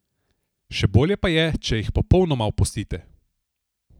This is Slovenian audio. Še bolje pa je, če jih popolnoma opustite.